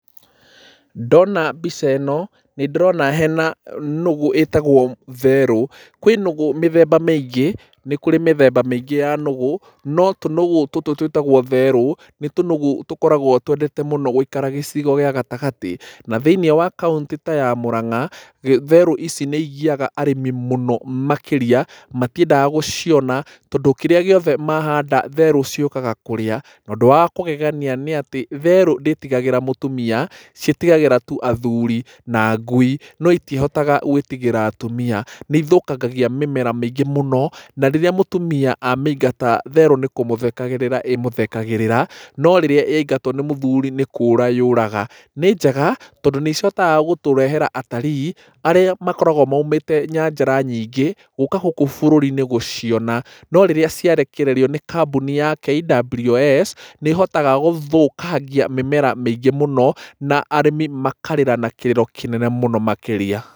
Ndona mbica ĩno nĩ ndĩrona hena nũgũ ĩtagwo therũ. Kwĩ nũgũ mĩthemba mĩingĩ ya nũgũ no tũnũgũ tũtũ twĩtagwo therũ, nĩ tũnũgũ twendete mũno gũikara gĩcigo gĩa gatagatĩ. Na thĩiniĩ wa kaũntĩ ta ya Mũranga, therũ ici nĩ igiaga arĩmi mũno makĩrĩa, tondũ kĩrĩa gĩothe mahanda therũ ciũkaga kũrĩa. Na ũndũ wa kũgegania nĩ atĩ therũ ndĩtigagĩra mũtumia, ciĩtigagĩra tu athuri na ngui no itihotaga gũĩtigĩra atumia. Nĩ ithũkangagia mĩmera mĩingĩ mũno, na rĩrĩa mũtumia amĩingata therũ nĩ kũmũthekagĩrĩra ĩmũthekagĩrĩra, no rĩrĩa yaingatwo nĩ mũthuri nĩ kũra yũraga. Nĩ njega tondũ nĩ icokaga gũtũrehera atalii arĩa makoragwo moumĩte nyanjara nyingĩ gũka gũkũ bũrũri-inĩ gũciona. No rĩrĩa ciarekererio nĩ kambuni ya KWS nĩ ihotaga gũthũkangia mĩmera mĩingĩ mũno, na arĩmi makarĩra na kĩrĩro kĩnene mũno makĩria.